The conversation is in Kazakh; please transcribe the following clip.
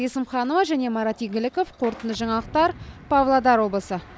есімханова және марат игіліков қорытынды жаңалықтар павлодар облысы